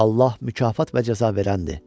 Allah mükafat və cəza verəndir.